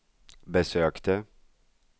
besökte